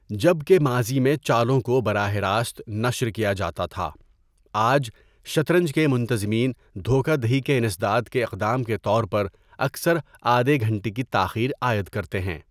جب کہ ماضی میں چالوں کو براہ راست نشر کیا جاتا تھا، آج، شطرنج کے منتظمین دھوکہ دہی کے انسداد کے اقدام کے طور پر اکثر آدھے گھنٹے کی تاخیر عائد کرتے ہیں۔